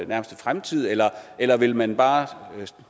nærmeste fremtid eller eller vil man bare